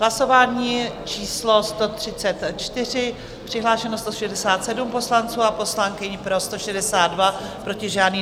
Hlasování číslo 134, přihlášeno 167 poslanců a poslankyň, pro 162, proti žádný.